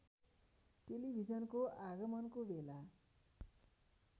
टेलिभजनको आगमनको बेला